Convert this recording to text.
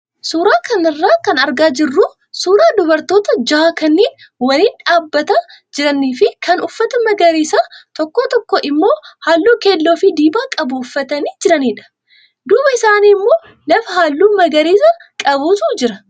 Suuraa kanarraa kan argaa jirru suuraa dubartoota jahaa kanneen waliin dhaabbataa jiranii fi kaan uffata magariisa tokko tokko immoo halluu keelloo fi diimaa qabu uffatanii jiranidha. Duuba isaanii immoo lafa halluu magariisa qabutu jira.